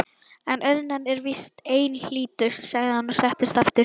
En auðnan er víst einhlítust, sagði hann og settist aftur.